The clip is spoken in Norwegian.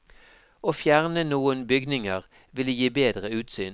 Å fjerne noen bygninger ville gi bedre utsyn.